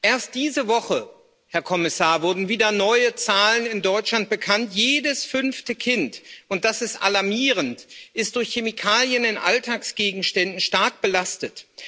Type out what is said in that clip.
Erst diese Woche, Herr Kommissar, wurden wieder neue Zahlen in Deutschland bekannt Jedes fünfte Kind und das ist alarmierend ist durch Chemikalien in Alltagsgegenständen stark belastet.